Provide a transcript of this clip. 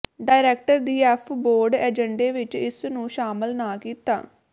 director ਦੀ F board ਏਜੰਡੇ ਵਿਚ ਇਸ ਨੂੰ ਸ਼ਾਮਲ ਨਾ ਕੀਤਾ